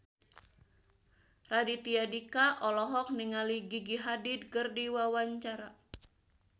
Raditya Dika olohok ningali Gigi Hadid keur diwawancara